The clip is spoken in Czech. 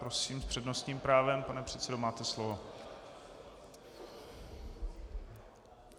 Prosím, s přednostním právem, pane předsedo, máte slovo.